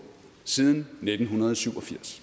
siden nitten syv og firs